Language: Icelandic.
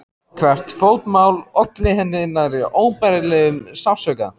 Hvert fótmál olli henni nærri óbærilegum sársauka.